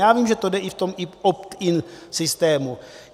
Já vím, že to jde i v opt-in systému.